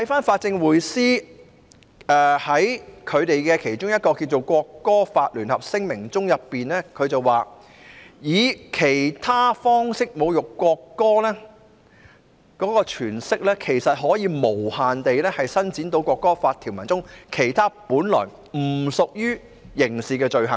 法政匯思在其發出的"國歌法聯合聲明"中提到，"以其他方式侮辱國歌"的詮釋，其實是可以無限延伸到《國歌法》中其他本來不屬於刑事的罪行。